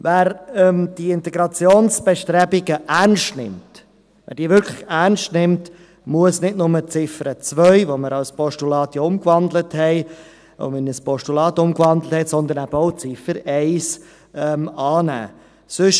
– Wer die Integrationsbestrebungen ernst nimmt, wer diese wirklich ernst nimmt, muss nicht nur die Ziffer 2, die wir ja in ein Postulat umgewandelt haben, sondern eben auch die Ziffer 1 annehmen.